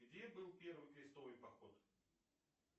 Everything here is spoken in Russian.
где был первый крестовый поход